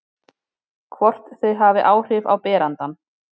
Hvort þau hafi áhrif á berandann.